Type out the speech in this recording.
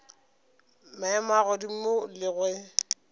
maemo a godimo le ge